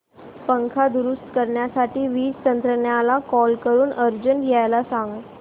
पंखा दुरुस्त करण्यासाठी वीज तंत्रज्ञला कॉल करून अर्जंट यायला सांग